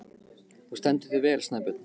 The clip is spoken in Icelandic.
Þú stendur þig vel, Snæbjörn!